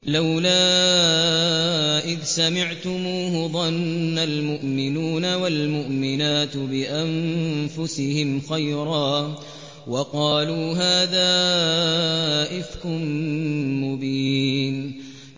لَّوْلَا إِذْ سَمِعْتُمُوهُ ظَنَّ الْمُؤْمِنُونَ وَالْمُؤْمِنَاتُ بِأَنفُسِهِمْ خَيْرًا وَقَالُوا هَٰذَا إِفْكٌ مُّبِينٌ